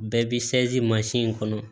Bɛɛ b'i mansin in kɔnɔ